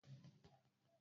Amozil yJafaru a sha jiya.